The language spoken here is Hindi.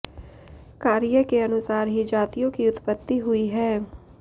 कार्य के अनुसार ही जातियों की उत्पत्ति हुई है